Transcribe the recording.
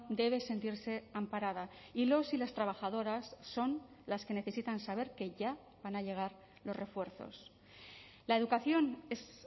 debe sentirse amparada y los y las trabajadoras son las que necesitan saber que ya van a llegar los refuerzos la educación es